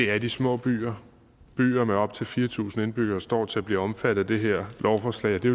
er de små byer byer med op til fire tusind indbyggere står til at blive omfattet af det her lovforslag og det